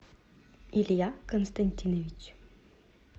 илья константинович